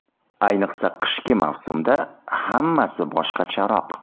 Ayniqsa qishki mavsumda hammasi boshqacharoq.